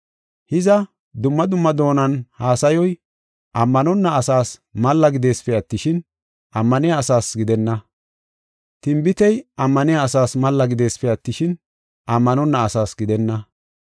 Hiza, dumma dumma doonan haasayoy, ammanonna asaas malla gideesipe attishin, ammaniya asaasa gidenna. Tinbitey ammaniya asaas malla gideesipe attishin, ammanonna asaasa gidenna.